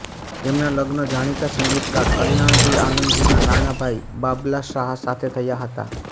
તેમનાં લગ્ન જાણીતા સંગીતકાર કલ્યાણજી આનંદજીના નાના ભાઇ બાબલા શાહ સાથે થયા હતા